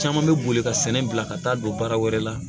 Caman bɛ boli ka sɛnɛ bila ka taa don baara wɛrɛ la